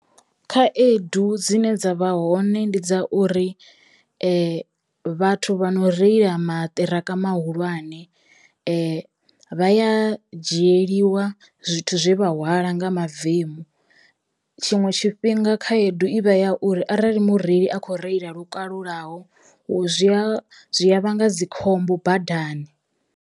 Khaedu dzine dza vha hone ndi dza uri vhathu vha no reila maṱiraka mahulwane vha ya dzhieliwa zwithu zwe vha hwala nga mavemu, tshiṅwe tshifhinga khaedu ivha ya uri arali mureili a kho reila lukalulaho zwi a zwi a vhanga dzikhombo badani.